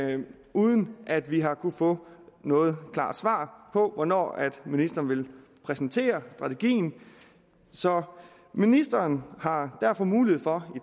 men uden at vi har kunnet få noget klart svar på hvornår ministeren vil præsentere strategien så ministeren har derfor mulighed for